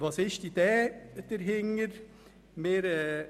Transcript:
Was ist die Idee dahinter?